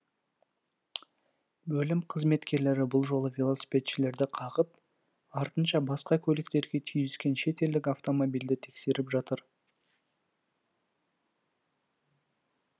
бөлім қызметкерлері бұл жолы велосипедшілерді қағып артынша басқа көліктерге түйіскен шет елдік автомобильді тексеріп жатыр